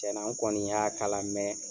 Tiɲɛna n kɔni y'a kala mɛ